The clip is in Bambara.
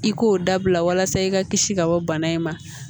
I k'o dabila walasa i ka kisi ka bɔ bana in ma